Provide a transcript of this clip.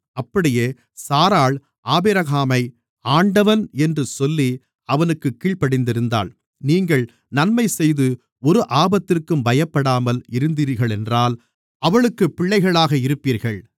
அப்படியே சாராள் ஆபிரகாமை ஆண்டவன் என்று சொல்லி அவனுக்குக் கீழ்ப்படிந்திருந்தாள் நீங்கள் நன்மைசெய்து ஒரு ஆபத்திற்கும் பயப்படாமல் இருந்தீர்களென்றால் அவளுக்குப் பிள்ளைகளாக இருப்பீர்கள்